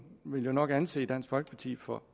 vil jo nok anse dansk folkeparti for